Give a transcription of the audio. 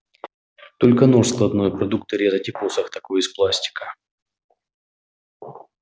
только нож складной продукты резать и посох такой из пластика